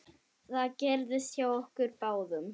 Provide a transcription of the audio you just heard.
Það gerðist hjá okkur báðum.